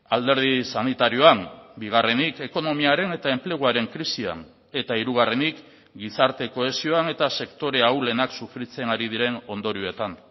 alderdi sanitarioan bigarrenik ekonomiaren eta enpleguaren krisian eta hirugarrenik gizarte kohesioan eta sektore ahulenak sufritzen ari diren ondorioetan